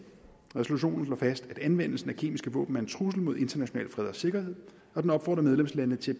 resolutionen slår fast at anvendelsen af kemiske våben er en trussel mod international fred og sikkerhed og den opfordrer medlemslandene til